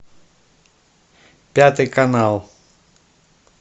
пятый канал